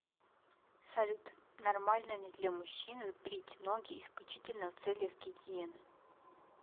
салют нормально ли для мужчины брить ноги исключительно в целях гигиены